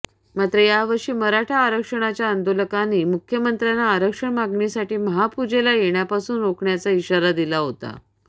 मात्र यावर्षी मराठा आरक्षणाच्या आंदोलकांनी मुख्यमंत्र्यांना आरक्षण मागणीसाठी महापूजेला येण्यापासून रोखण्याचा इशारा दिला होता